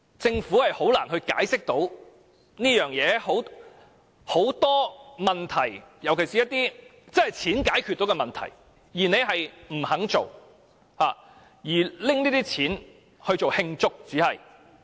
政府實在難以解釋，因為有很多問題，尤其是一些可用金錢解決的問題，政府不肯為之，但卻撥款慶祝回歸。